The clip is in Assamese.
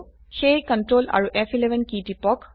সেয়ে কন্ট্ৰল আৰু ফ11 কী টিপক